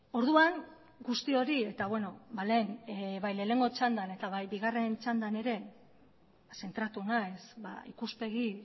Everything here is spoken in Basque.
orduan guzti hori eta lehen bai lehenengo txandan eta bai bigarren txandan ere zentratu naiz ikuspegi